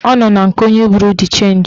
Ọ nọ na nke onye buru d chenji